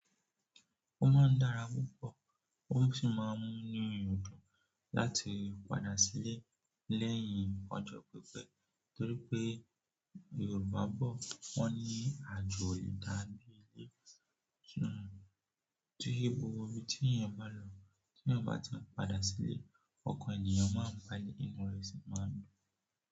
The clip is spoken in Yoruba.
Ó máa ń dára púpọ̀ ó sì máa ń mú nu mi dùn láti padà sílé lẹ́yìn ọjọ́ pípẹ́ torí pé Yorùbá bọ̀ wọ́n ní àjò ìdábí ilé. To je gbogbo ibí tí èèyàn bá lọ tí èèyàn bá ti padà sílé, ọkàn èèyàn máa ń gba inú rẹ̀ sí máa dùn.